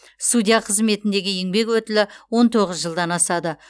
судья қызметіндегі еңбек өтілі он тоғыз жылдан асады